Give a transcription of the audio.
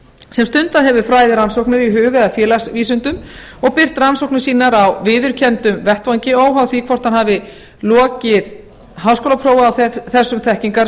sem stundað hefur fræðirannsóknir í hug eða félagsvísindum og birt rannsóknir sínar á viðurkenndum vettvangi óháð því hvort hann hafi lokið háskólaprófi á þessum þekkingarsviðum með